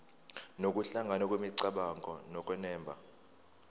nokuhlangana kwemicabango nokunemba